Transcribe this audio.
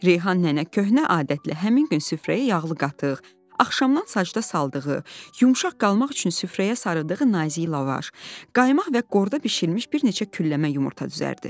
Reyhan nənə köhnə adətlə həmin gün süfrəyə yağlı qatıq, axşamdan sacda saldığı, yumşaq qalmaq üçün süfrəyə sarıdığı nazik lavaş, qaymaq və qorda bişirilmiş bir neçə külləmə yumurta düzərdi.